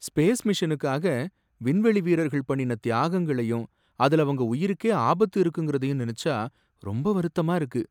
Space மிஷனுக்காக விண்வெளி வீரர்கள் பண்ணின தியாகங்களையும், அதுல அவங்க உயிருக்கே ஆபத்து இருக்குங்குறதயும் நெனச்சா ரொம்ப வருத்தமா இருக்கு.